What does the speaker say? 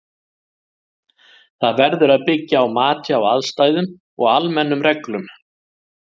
Það verður að byggja á mati á aðstæðum og almennum reglum.